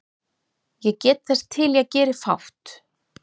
Ég get þess til ég geri fátt